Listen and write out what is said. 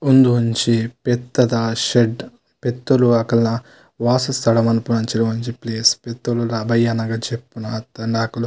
ಉಂದು ಒಂಜಿ ಪೆತ್ತದ ಶೆಡ್ಡ್ ಪೆತ್ತೊಲು ಅಕಲ್ನ ವಾಸಸ್ಥಳ ಮನ್ಪುನಂಚಿನ ಒಂಜಿ ಪ್ಲೇಸ್ ಪೆತ್ತೊಲು ಬಯ್ಯಾನಗ ಜೆಪ್ಪುನ ಅತ್ತ್ಂಡ ಅಕ್ಲ್.